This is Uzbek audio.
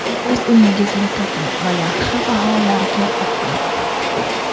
o‘z uyingizni toping va yaxshi baholarga o‘qing.